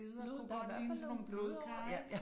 Det i hvert fald nogle blodårer, ikk